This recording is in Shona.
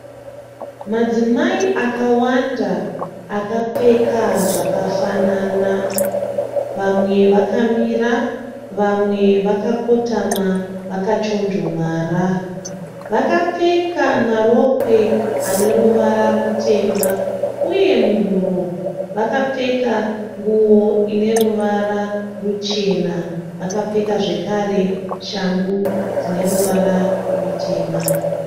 Madzimai akawanda akapfeka zvakafanana. Vamwe vakamira vamwe vakakotama vakachonjomara. Vakapfeka marokwe àne ruvara rutema uye muhuro vakapfeka nguwo ine ruvara ruchena. Vakapfeka zvekare shangu dzine ruvara rutema.